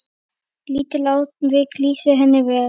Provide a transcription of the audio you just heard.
Lítið atvik lýsir henni vel.